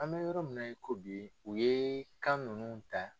An bɛ yɔrɔ min na i ko bi u ye kan ninnu ta.